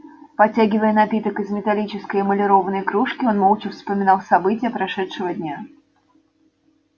потягивая напиток из металлической эмалированной кружки он молча вспоминал события прошедшего дня